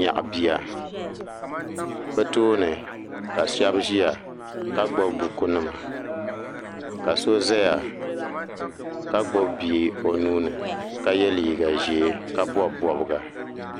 nyɛgi bia bɛ tuuni ka shɛbi ʒɛya ka gbabi buku nima ka so zaya ka gbabi bia o nuni ka yɛ liga ʒiɛ ka bɔbi bɔbiga